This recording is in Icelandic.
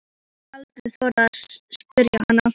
Ég hef aldrei þorað að spyrja hana.